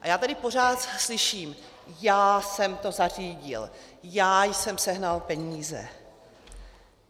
A já tady pořád slyším: já jsem to zařídil, já jsem sehnal peníze .